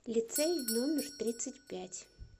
лицей номер тридцать пять